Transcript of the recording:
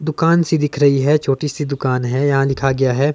दुकान सी दिख रही है छोटी सी दुकान है यहां लिखा गया है।